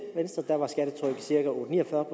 ni og fyrre